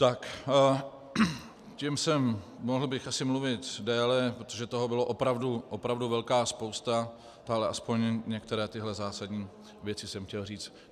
Tak, tím jsem - mohl bych asi mluvit déle, protože toho byla opravdu velká spousta, ale aspoň některé tyto zásadní věci jsem chtěl říct.